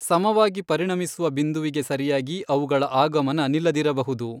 ಸಮವಾಗಿ ಪರಿಣಮಿಸುವ ಬಿಂದುವಿಗೆ ಸರಿಯಾಗಿ ಅವುಗಳ ಆಗಮನ ನಿಲ್ಲದಿರಬಹುದು.